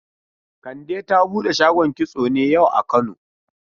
Kande ta bude shagon kitso ne yau a kano?